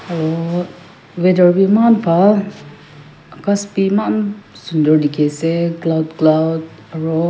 aru weather bhi eman bhan Akash bhi eman bhan dekhi ase cloud cloud --